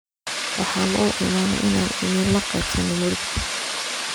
Waxan uu iimane inan nilakebsano murugta.